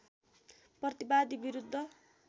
प्रतिवादी विरुद्ध